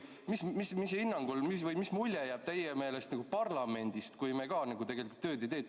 Mis mulje jääb teie meelest parlamendist, kui me ka tegelikult tööd ei tee?